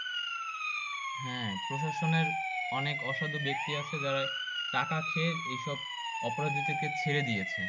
হ্যাঁ প্রশাসনের অনেক অসাধু ব্যাক্তি আছে যারা টাকা খেয়ে এইসব অপরাধীদেরকে ছেড়ে দিয়েছে।